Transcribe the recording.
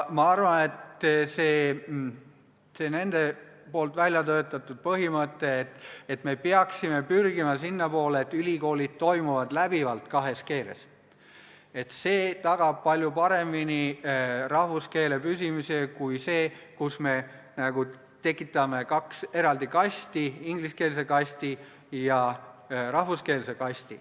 Ma arvan, et see nende välja töötatud põhimõte, et me peaksime pürgima sinnapoole, et ülikoolid toimiksid läbivalt kahes keeles, tagab rahvuskeele püsimise palju paremini kui see, et me tekitame kaks eraldi kasti, ingliskeelse kasti ja rahvuskeelse kasti.